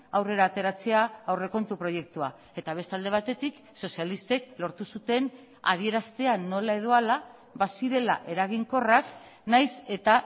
aurrera ateratzea aurrekontu proiektua eta beste alde batetik sozialistek lortu zuten adieraztea nola edo hala bazirela eraginkorrak nahiz eta